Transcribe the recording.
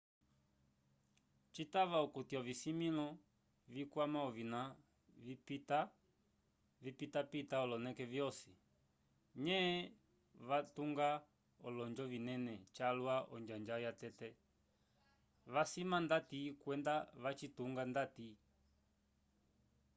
citava okuti ovisimĩlo vikwama ovina vipitapita oloneke vyosi nye vatunga olonjo vinene calwa onjanja yatete vacisima ndati kwenda vacitunga ndati